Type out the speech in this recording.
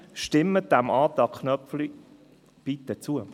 Stimmen Sie deshalb dem Antrag Köpfli bitte zu.